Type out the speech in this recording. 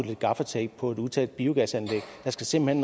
lidt gaffatape på et utæt biogasanlæg der skal simpelt